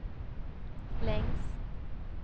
längs